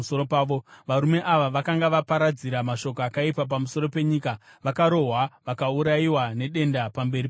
varume ava vakanga vaparadzira mashoko akaipa pamusoro penyika, vakarohwa vakaurayiwa nedenda pamberi paJehovha.